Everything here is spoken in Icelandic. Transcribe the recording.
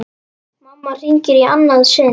Mamma hringir í annað sinn.